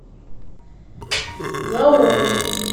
гаоми